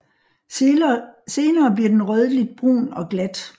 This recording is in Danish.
Senere bliver den rødligt brun og glat